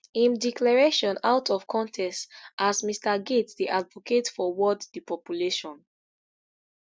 im declaration out of context as mr gates dey advocate for world depopulation